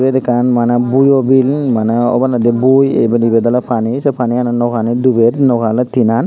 ebot ekan mana buoibill mana oboladi buoi ebet ebet ole pani se paniyanot noagani dubeer nao ale tinnan.